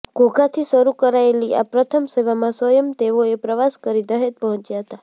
ઘોઘાથી શરૂ કરાયેલી આ પ્રથમ સેવામાં સ્વયં તેઓએ પ્રવાસ કરી દહેજ પહોચ્યા હતા